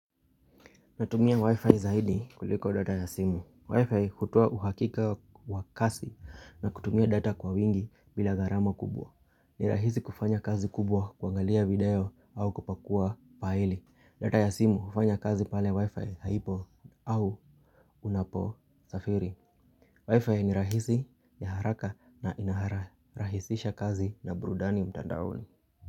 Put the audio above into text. Natumia wifi zaidi kuliko data ya simu. Wifi hutoa uhakika wa kasi na kutumia data kwa wingi bila gharama kubwa. Ni rahisi kufanya kazi kubwa kuangalia video au kupakua paele. Data ya simu hufanya kazi pale wifi haipo au unaposafiri. Wifi ni rahisi ya haraka na inahara. Rahisisha kazi na burudani mtandaoni.